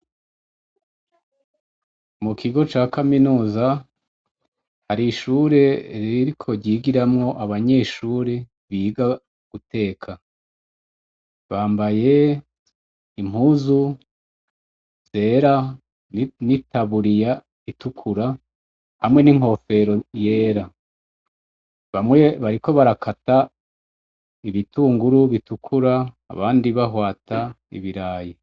Mukigo ca kaminuza har'ishuri ririko ryigiramwo abanyeshure biga guteka. Bambaye impuzu zera n'itaburiya itukura hamwe n'inkofero yera, bamwe bariko bakata ibitunguru bitukura abandi bahwata ibirayi.